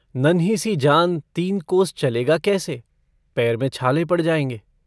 नन्हीसी जान तीन कोस चलेगा कैसे पैर में छाले पड़ जायेंगे।